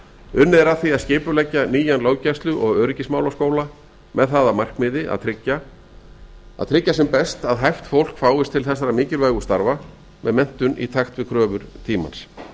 unnið er að var að skipuleggja nýjan löggæslu og öryggismálaskóla með það að markmiði að tryggja sem best að hæft fólk fáist til þessara mikilvægu starfa með menntun í takt við kröfu tímans